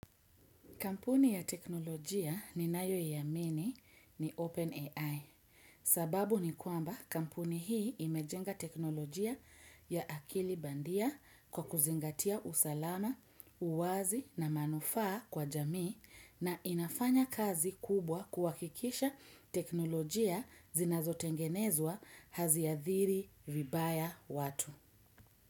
Kampuni ya teknolojia ninayoia lmini ni Open AI sababu ni kwamba kampuni hii imejenga teknolojia ya akili bandia kwa kuzingatia usalama, uwazi na manufaa kwa jamii na inafanya kazi kubwa kuhakikisha teknolojia zinazotengenezwa haziathiri vibaya watu.